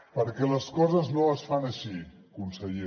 perquè les coses no es fan així conseller